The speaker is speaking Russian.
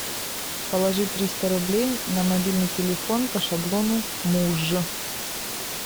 положи триста рублей на мобильный телефон по шаблону муж